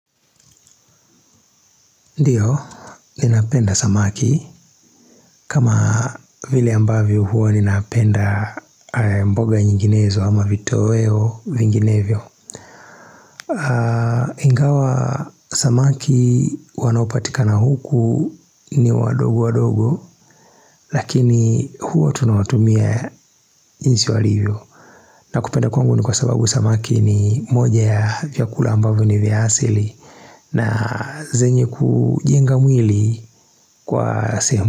Ndiyo, ninapenda samaki. Kama vile ambavyo huo ninapenda mboga nyinginezo ama vitoweo vinginevyo. Ingawa samaki wanopatika na huku ni wadogo wadogo, lakini huo tunawatumia jinsi walivyo. Na kupenda kwangu ni kwa sababu samaki ni moja ya vyakula ambavyo ni vyasili na zenye kujenga mwili kwa sema.